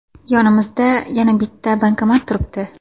Yonimizda yana bitta bankomat turibdi.